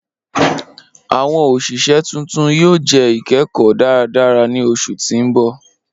Awọn oṣiṣẹ tuntun yoo jẹ ikẹkọ daradara ni oṣu ti n bọ.